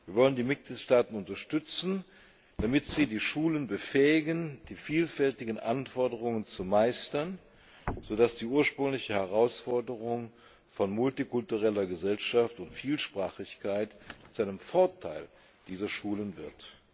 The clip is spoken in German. Wir wollen die Mitgliedstaaten unterstützen, damit sie die Schulen befähigen, die vielfältigen Anforderungen zu meistern, so dass die ursprüngliche Herausforderung von multikultureller Gesellschaft und Vielsprachigkeit zu einem Vorteil dieser Schulen wird.